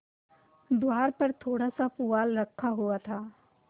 द्वार पर थोड़ासा पुआल रखा हुआ था